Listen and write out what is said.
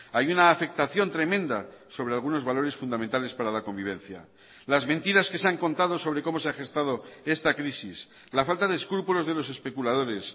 hay una afectación tremenda sobre algunos valores fundamentales para la convivencia las mentiras que se han contado sobre cómo se ha gestado esta crisis la falta de escrúpulos de los especuladores